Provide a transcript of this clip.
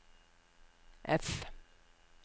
F